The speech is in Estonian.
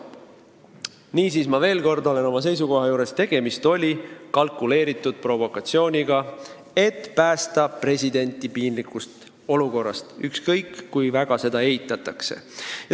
Niisiis, ma veel kordan oma seisukohta: tegemist oli kalkuleeritud provokatsiooniga, et päästa president piinlikust olukorrast, ükskõik kui väga seda ka ei eitata.